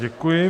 Děkuji.